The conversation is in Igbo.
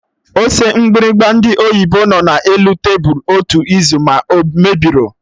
Ose mgbịrịgba ndị oyibo nọ na elu tebụl otu izu, ma o mebirọ